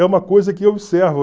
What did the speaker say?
É uma coisa que eu observo.